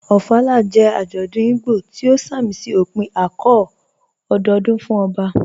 Ofala jẹ́ ajọ́dún Ìgbò tí o sàmísí ọ̀pìn ạ̀kọ̀ọ̀ ọ̀dọọ̀dún fún ọbà